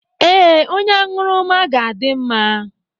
Ee, onye aṅụrụma ga-adị mma.